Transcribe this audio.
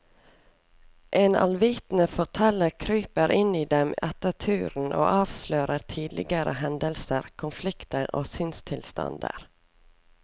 En allvitende forteller kryper inn i dem etter tur og avslører tidligere hendelser, konflikter og sinnstilstander.